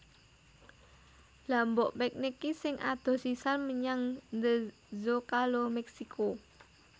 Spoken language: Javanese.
Lha mbok piknik ki sing adoh sisan menyang The Zocalo Meksiko